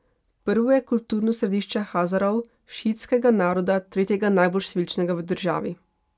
Prvo je kulturno središče Hazarov, šiitskega naroda, tretjega najbolj številčnega v državi.